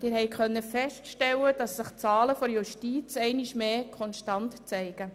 Sie konnten feststellen, dass sich die Zahlen der Justiz einmal mehr konstant zeigen.